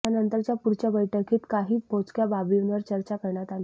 त्यानंतरच्या पुढच्या बैठकीत काही मोजक्या बाबींवर चर्चा करण्यात आली